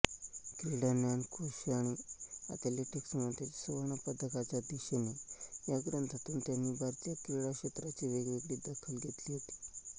क्रीडा ज्ञानकोश आणि एथलेटिक्समधील सुवर्णपदकाच्या दिशेने या ग्रंथातून त्यांनी भारतीय क्रीडाक्षेत्राची वेगळी दखल घेतली होती